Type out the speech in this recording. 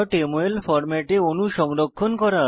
mol ফরম্যাটে অণু সংরক্ষণ করা